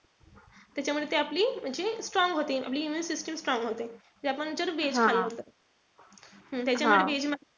त्याच्यामुळे ते आपली म्हणजे strong होते. आपली immune system strong होते. जी आपण जर veg खाल्लं तर. त्याच्यामध्ये veg मध्ये,